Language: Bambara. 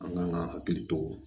An kan ka hakili to